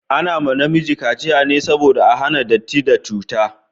Ana ma namiji kaciya ne saboda a hana datti da cuta